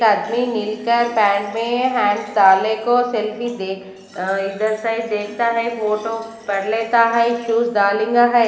मिलकर पैंट में हैंडस डाले को सेल्फी देख अ इधर साइड देखता है फोटो पढ़ लेता है शूज है।